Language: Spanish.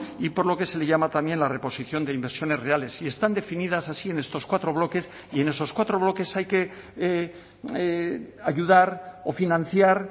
y por lo que se le llama también la reposición de inversiones reales y están definidas así en estos cuatro bloques y en esos cuatro bloques hay que ayudar o financiar